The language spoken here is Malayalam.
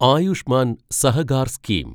ആയുഷ്മാൻ സഹകാർ സ്കീം